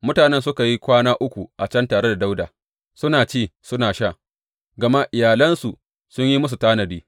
Mutanen suka yi kwana uku a can tare da Dawuda, suna ci suna sha, gama iyalansu sun yi musu tanadi.